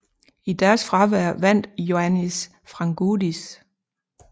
I deres fravær vandt Ioannis Frangoudis